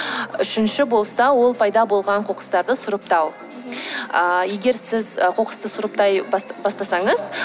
үшінші болса ол пайда болған қоқыстарды сұрыптау ыыы егер сіз ы қоқысты сұрыптай бастасаңыз